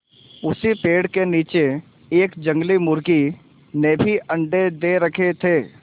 उसी पेड़ के नीचे एक जंगली मुर्गी ने भी अंडे दे रखें थे